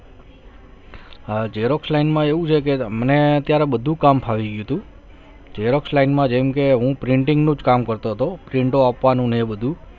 હા xerox line માં એવું છે કે મને અત્યારે બધું કામ ફાવી ગયું હતું xerox line માં જેમ કે હું printing નું જ કામ કરતો હતો print આપવાનું ને બધું